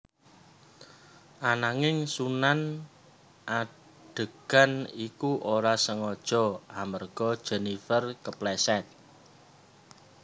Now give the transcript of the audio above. Ananging Sunan adegan iku ora sengaja amarga Jenifer kepleset